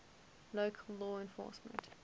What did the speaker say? local law enforcement